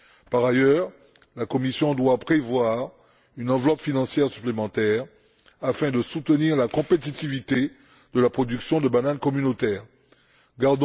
Par ailleurs, la Commission doit prévoir une enveloppe financière supplémentaire afin de soutenir la compétitivité de la production communautaire de bananes.